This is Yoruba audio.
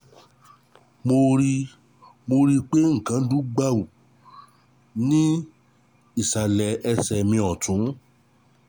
Mo rí i Mo rí i pé nǹkan dún gbàù ní ìsàlẹ̀ ẹsẹ̀ mi ọ̀tún